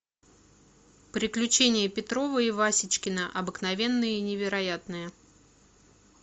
приключения петрова и васечкина обыкновенные и невероятные